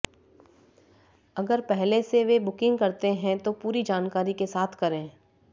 अगर पहले से वे बुकिंग करते हैं तो पूरी जानकारी के साथ करें